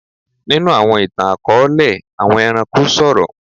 Nínú àwọn ìtàn-akọọlẹ, àwọn ẹranko sọrọ.